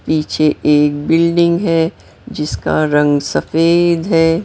पीछे एक बिल्डिंग है जिसका रंग सफेद है।